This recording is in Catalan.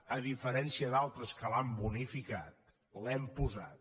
a diferència d’altres que l’han bonificat l’hem posat